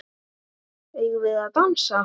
Eigum við að dansa?